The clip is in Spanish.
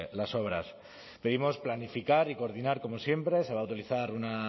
las obras pedimos planificar y coordinar como siempre se va a utilizar